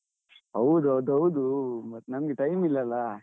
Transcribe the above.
ಹೌದು ಅದ್ ಹೌದು, ಮತ್ ನಮ್ಗೆ time ಇಲ್ಲಲಾ.